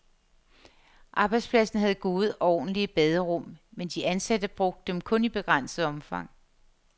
Arbejdspladsen havde gode og ordentlige baderum, men de ansatte brugte dem kun i begrænset omfang.